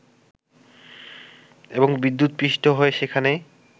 এবং বিদ্যুৎ পৃষ্ঠ হয়ে সেখানে